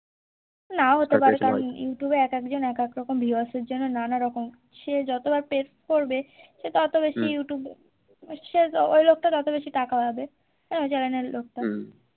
নাও হতে পারে youtube এ একেক জন একেক রকম viewers এর জন্য নানা রকম সে যত বার page করবে সে ততো বেশি youtuve এ সে ওই লোকটা তত বেশি টাকা পাবে channel এর লোকটা